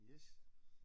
Yes